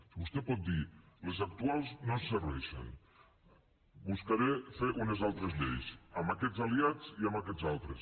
si vostè pot dir les actuals no ens serveixen buscaré fer unes altres lleis amb aquests aliats i amb aquests altres